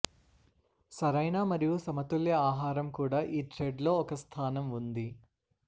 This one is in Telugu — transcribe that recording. సరైన మరియు సమతుల్య ఆహారం కూడా ఈ థ్రెడ్ లో ఒక స్థానం ఉంది